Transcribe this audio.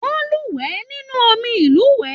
Wọn luwẹ̀ nínú omí ilúwẹ.